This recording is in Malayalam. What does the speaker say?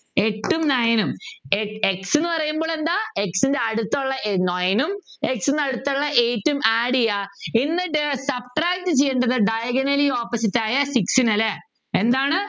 എട്ടും Nine ഉം ഏർ X എന്ന് പറയുമ്പോൾ എന്താ X അടുത്തുള്ള Nine ഉം അടുത്തുള്ള x നടുത്തുള്ള eight ഉം Add ചെയ്യാ എന്നിട്ട് subtract ചെയ്തിട്ട് Diagonally opposite ആയ Six നെ അല്ലേ എന്താണ്